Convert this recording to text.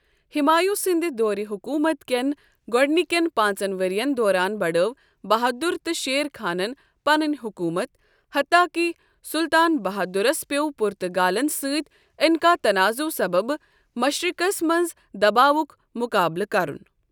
ہمایوں سندِ دورِ حکوٗمت کٮ۪ن گۄڈنِکٮ۪ن پانٛژن ؤرین دوران بڑھٲو بہادُر تہٕ شیر خانن پنٕنۍ حکوٗمت، حتاکہِ سُلطان بہادُرس پِٮ۪و پُرتگالن سۭتۍ انكاہ تناضو سببہٕ مشرقس منٛز دباوُک مُقابلہٕ کرُن ۔